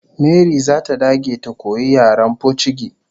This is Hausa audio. Mary zata dage ta koyi yaren pocigi